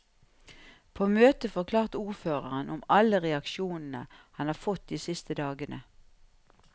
På møtet forklarte ordføreren om alle reaksjonene han har fått de siste dagene.